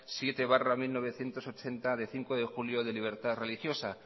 siete barra mil novecientos ochenta de cinco de julio de libertad religiosa